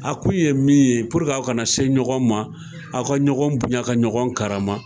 A kun ye min ye a kana se ɲɔgɔn ma, aw ka ɲɔgɔn bonya ka ɲɔgɔn karama.